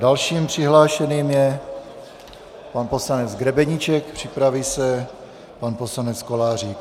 Dalším přihlášeným je pan poslanec Grebeníček, připraví se pan poslanec Kolářík.